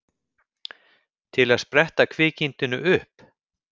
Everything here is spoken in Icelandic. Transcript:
Til að spretta kvikindinu upp?